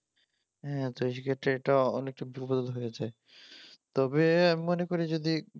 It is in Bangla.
হ্যাঁ তো সেক্ষেত্রে এটা অনেক তবে আমি মনে করি যদি